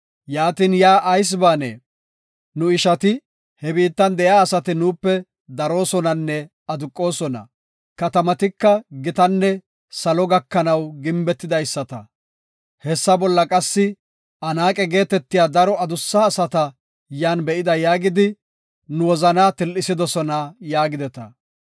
Yaatin yaa ayis baanee? Nu ishati, ‘He biittan de7iya asati nuupe daroosonanne aduqosona. Katamatika gitanne salo gakanaw gimbetidaysata. Hessa bolla qassi Anaaqe geetetiya daro adussa asata yan be7ida’ yaagidi, nu wozana til7isidosona” yaagideta.